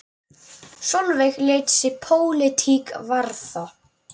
Sólveig lét sig pólitík varða.